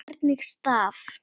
Hvernig staf